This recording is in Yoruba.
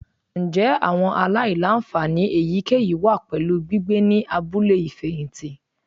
Njẹ awọn alailanfani eyikeyi wa pẹlu gbigbe ni abule ifẹhinti?